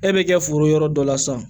E bɛ kɛ foro yɔrɔ dɔ la sisan